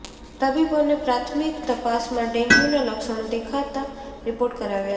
તબિબોને પ્રાથમિક તપાસમાં ડેંગ્યુના લક્ષણો દેખાતાં રિપોર્ટ કરાવ્યા હતાં